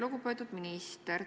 Lugupeetud minister!